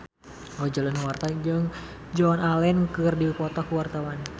Roger Danuarta jeung Joan Allen keur dipoto ku wartawan